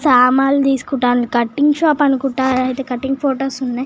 సమాలు తిసుకోవడానికి cutting shop అనుకోట cutting photos ఉన్నాయ్.